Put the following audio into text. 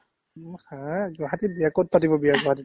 haa গুৱাহাটীত বিয়া ক'ত পাতিব বিয়া গুৱাহাটীত ?